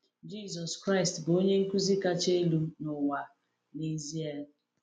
Jisọs Kraịst bụ Onye Nkuzi kacha elu n’ụwa, n’ezie.